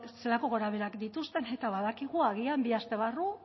zelako gogorabeherak dituzten eta badakigu agian bi aste barru